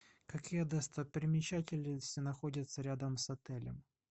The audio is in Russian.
какие достопримечательности находятся рядом с отелем